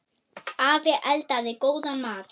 Afi eldaði góðan mat.